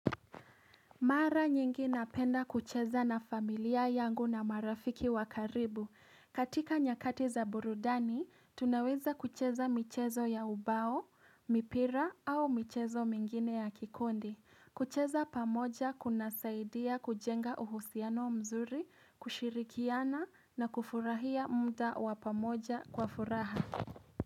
Mara nyingi napenda kucheza na familia yangu na marafiki wa karibu. Katika nyakati za burudani, tunaweza kucheza michezo ya ubao, mipira au michezo mingine ya kikundi. Kucheza pamoja kunasaidia kujenga uhusiano mzuri, kushirikiana na kufurahia muda wa pamoja kwa furaha.